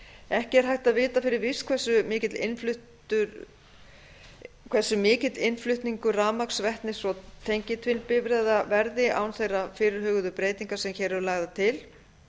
ekki er hægt vita fyrir víst hversu mikill innflutningur rafmagns vetnis og tengiltvinnbifreiða verði án þeirra fyrirhuguðu breytinga sem hér eru lagðar til